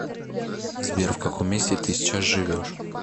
сбер в каком месте ты сейчас живешь